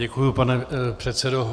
Děkuji, pane předsedo.